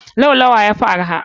Laulawa yafi arha.